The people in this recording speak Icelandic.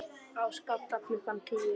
Á Skalla klukkan tíu!